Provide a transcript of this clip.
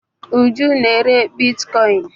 Uju na-ere bitkoịn.